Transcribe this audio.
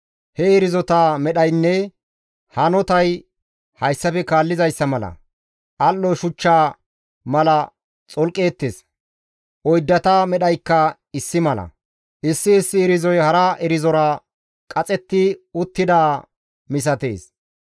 He irzota medhaynne hanotay hayssafe kaallizayssa mala; al7o shuchcha mala xolqeettes; oyddata medhaykka issi mala; issi issi irzoy hara irzora qaxetti uttidaa misatees.